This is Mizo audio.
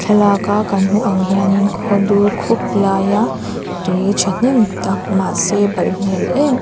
thlalak a kan hmuh ang hian in khawdur khup laia tui thahnem tak mahse balh hmel em em--